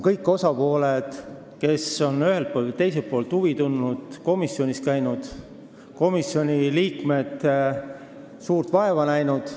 Kõik osapooled, kes on ühelt või teiselt poolt asja vastu huvi tundnud, on komisjonis käinud ning komisjoni liikmed on suurt vaeva näinud.